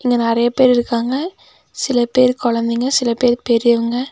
இங்க நெறைய பேர் இருக்காங்க சில பேர் கொழந்தைங்க சில பேர் பெரியவங்க.